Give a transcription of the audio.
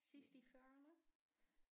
Sidst i fyrrerne?